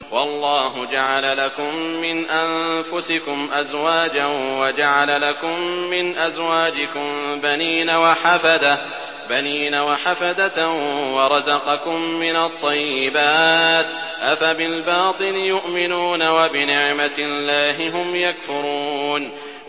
وَاللَّهُ جَعَلَ لَكُم مِّنْ أَنفُسِكُمْ أَزْوَاجًا وَجَعَلَ لَكُم مِّنْ أَزْوَاجِكُم بَنِينَ وَحَفَدَةً وَرَزَقَكُم مِّنَ الطَّيِّبَاتِ ۚ أَفَبِالْبَاطِلِ يُؤْمِنُونَ وَبِنِعْمَتِ اللَّهِ هُمْ يَكْفُرُونَ